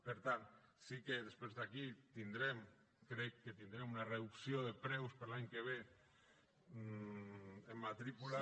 per tant sí que després d’aquí crec que tindrem una reducció de preus per a l’any que ve en matrícules